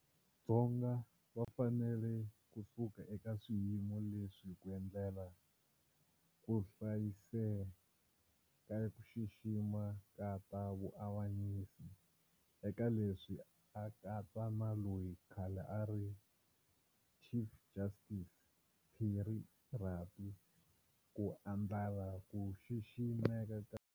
Dzonga va fanele ku suka eka swiyimo leswi ku endlela ku hlayisa ku xiximeka ka ta vuavanyisi, eka leswi a katsa na loyi khale a a ri Chief Justice, Pierre Rabie, ku endlala ku xiximeka ka.